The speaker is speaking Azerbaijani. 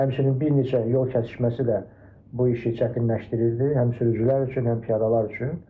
Həmçinin bir neçə yol kəsişməsi də bu işi çətinləşdirirdi, həm sürücülər üçün, həm piyadalar üçün.